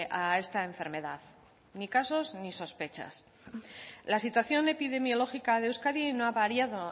a esta enfermedad ni casos ni sospechas la situación epidemiológica de euskadi no ha variado